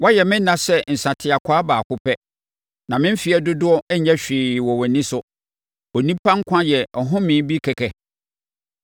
Woayɛ me nna sɛ nsateakwaa baako pɛ; na me mfeɛ dodoɔ nyɛ hwee wɔ wʼani so. Onipa nkwa yɛ ahomeɛ bi kɛkɛ.